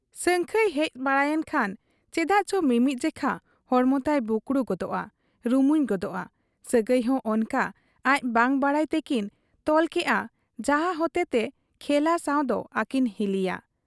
ᱥᱟᱹᱝᱠᱷᱟᱹᱭ ᱦᱮᱡ ᱵᱟᱲᱟᱭᱮᱱ ᱠᱷᱟᱱ ᱪᱮᱫᱟᱜᱪᱚ ᱢᱤᱢᱤᱫ ᱡᱮᱠᱷᱟ ᱦᱚᱲᱢᱚ ᱛᱟᱭ ᱵᱩᱠᱲᱩ ᱜᱚᱫᱳᱜ ᱟ, ᱨᱩᱢᱩᱧ ᱜᱚᱫᱚᱜ ᱟ ᱾ ᱥᱟᱹᱜᱟᱹᱭᱦᱚᱸ ᱚᱱᱠᱟ ᱟᱡ ᱵᱟᱝ ᱵᱟᱰᱟᱭ ᱛᱮᱠᱤᱱ ᱛᱚᱞᱠᱮᱜ ᱟ ᱡᱟᱦᱟᱸ ᱦᱚᱛᱮᱛᱮ ᱠᱷᱮᱞᱟ ᱥᱟᱶᱫᱚ ᱟᱹᱠᱤᱱ ᱦᱤᱞᱤᱭᱟ ᱾